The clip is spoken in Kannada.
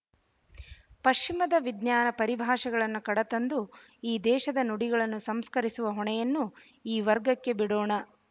ಪಶ್ಚಿಮದ ವಿಜ್ಞಾನ ಪರಿಭಾಷೆಗಳನ್ನು ಕಡತಂದು ಈ ದೇಶದ ನುಡಿಗಳನ್ನು ಸಂಸ್ಕರಿಸುವ ಹೊಣೆಯನ್ನು ಈ ವರ್ಗಕ್ಕೆ ಬಿಡೋಣ